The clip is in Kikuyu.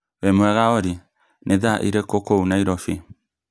wĩ mwega Olly, nĩ thaa irĩkũ kũu Nairobi?